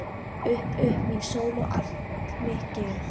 Upp upp mín sól og allt mitt geð.